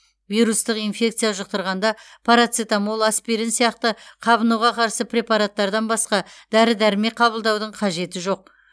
вирустық инфекция жұқтырғанда парацетамол аспирин сияқты қабынуға қарсы препараттардан басқа дәрі дәрмек қабылдаудың қажеті жоқ